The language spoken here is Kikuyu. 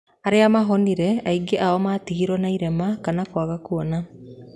Arĩa mahonire aingĩ ao matigirwo na ĩrema kana kwaga Kuona.